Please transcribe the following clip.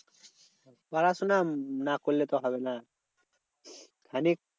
পড়াশোনা না করলে তো হবে না মানে